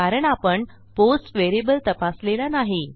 कारण आपण post variable तपासलेला नाही